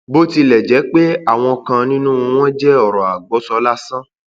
bó tilẹ jẹ pé àwọn kan nínú wọn wọn jẹ ọrọ àgbọsọ lásán